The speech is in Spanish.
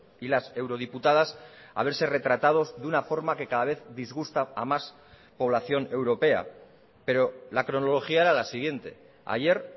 y las eurodiputadas a verse retratados de una forma que cada vez disgusta a más población europea pero la cronología era la siguiente ayer